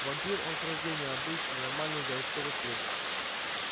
вампир он с рождения обычный нормальный городской вампир